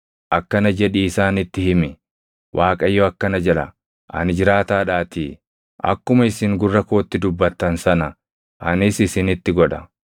Akkana jedhii isaanitti himi; ‘ Waaqayyo akkana jedha; ani jiraataadhaatii, akkuma isin gurra kootti dubbattan sana anis isinitti godha: